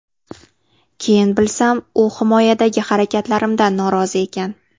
Keyin bilsam, u himoyadagi harakatlarimdan norozi ekan.